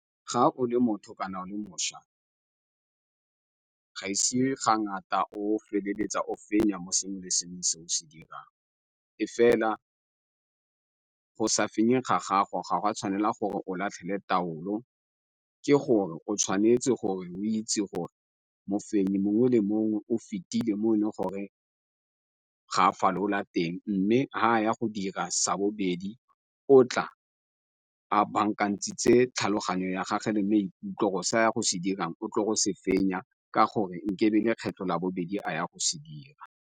Ga o le motho ka nako le mošwa ga ise ga ngata o feleletsa o fenya mo sengwe le sengwe se o se dirang, e fela go sa fenyeng ga gago ga wa tshwanela gore o latlhele taulo. Ke gore o tshwanetse gore o itse gore mo fenya mongwe le mongwe o fetileng mo e le gore ga a fa lolola teng mme ga a ya go dira sa bobedi di o tla a bankantshitse tlhaloganyo ya gage le maikutlo se ya go se dirang o tlotlo se fenya ka gore nkabe e le kgwetlho labobedi a ya go se dira.